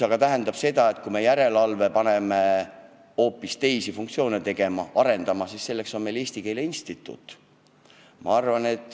Aga kui me tahaksime järelevalveasutuse panna hoopis teisi funktsioone täitma, arendustööd tegema, siis selleks on meil Eesti Keele Instituut.